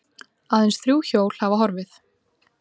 Aðeins þrjú hjól hafa horfið